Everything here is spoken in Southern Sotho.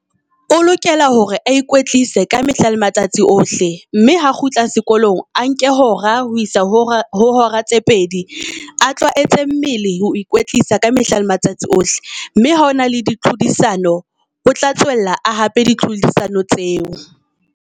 O lokela hore a ikwetlise ka mehla le matsatsi ohle mme ha kgutla sekolong a nke hora ho isa ho hora tse pedi. A tlwaetse mmele ho ikwetlisa ka mehla le matsatsi ohle. Mme ha o na le di tlhodisano, o tla tswella a hape di tlhodisano tseo.